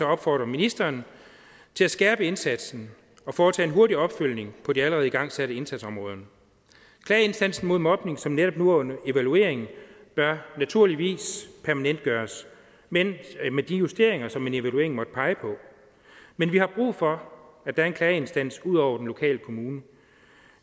opfordrer ministeren til at skærpe indsatsen og foretage en hurtig opfølgning på de allerede igangsatte indsatsområder klageinstansen mod mobning som netop nu er under evaluering bør naturligvis permanentgøres men med de justeringer som en evaluering måtte pege på men vi har brug for at der er en klageinstans ud over den lokale kommune